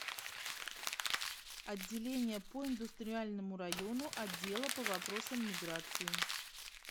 отделение по индустриальному району отдела по вопросам миграции